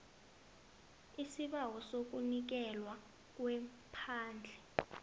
isibawo sokunikelwa kwephandle